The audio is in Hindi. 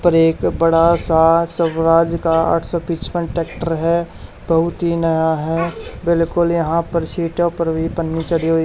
यहां पर एक बड़ा सा स्वराज का आठ सौ पचपन ट्रैक्टर है बहुत ही नया है बिल्कुल यहां पर सीटों पर भी पन्नी चढ़ी हुई --